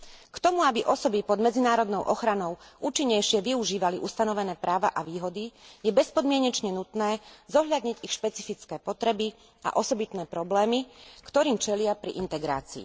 K tomu, aby osoby pod medzinárodnou ochranou účinnejšie využívali ustanovené výhody a práva, je bezpodmienečne nutné zohľadniť ich špecifické potreby a osobitné problémy, ktorým čelia pri integrácii.